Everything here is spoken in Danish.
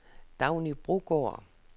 Dagny Brogaard